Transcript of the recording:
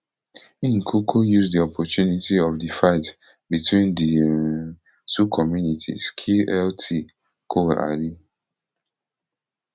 im kuku use di opportunity of di fight between di um two communities kill lt col ali